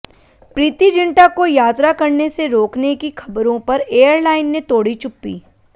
प्रीति जिंटा को यात्रा करने से रोकने की खबरों पर एयरलाइन ने तोड़ी चुप्पी